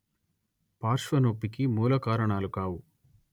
పార్శ్వనొప్పికి మూలకారణాలు కావు